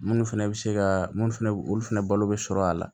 Minnu fɛnɛ bɛ se ka minnu fɛnɛ olu fɛnɛ balo bɛ sɔrɔ a la